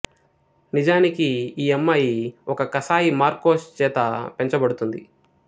నిజానికి ఈ అమ్మాయి ఒక కసాయి మార్కోస్ చేత పెంచబడుతుంది